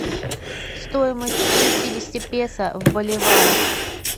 стоимость шестидесяти песо в боливарах